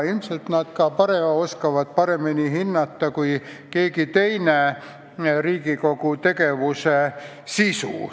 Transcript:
Ilmselt oskavad nad ka paremini kui keegi teine hinnata Riigikogu tegevuse sisu.